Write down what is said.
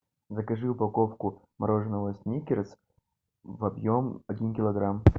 закажи упаковку мороженого сникерс объем один килограмм